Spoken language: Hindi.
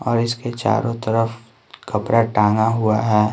और इसके चारों तरफ कपड़ा टांगा हुआ है।